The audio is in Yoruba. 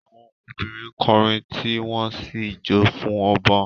Àwọn obìnrin ń kọrin tí wọ́n sì ń jó fún ọba